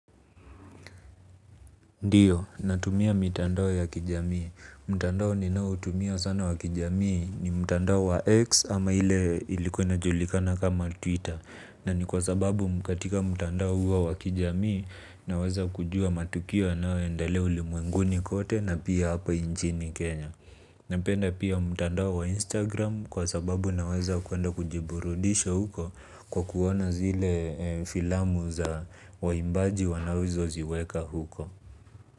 Ndiyo, natumia mitandao ya kijamii. Mtandao ninaoutumia sana wa kijamii ni mtandao wa X ama ile ilikuwa inajulikana kama Twitter. Na ni kwa sababu katika mtandao huo wa kijamii naweza kujua matukio yanayoendelea ulimwenguni kote na pia hapa inchini Kenya. Napenda pia mtandao wa Instagram kwa sababu naweza kuenda kujiburudisha huko kwa kuona zile filamu za waimbaji wanazo ziweka huko.